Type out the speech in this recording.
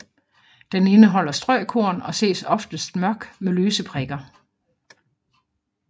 Den indeholder strøkorn og ses oftest mørk med lyse prikker